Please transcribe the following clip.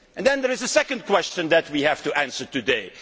There is a second question that we have to answer today.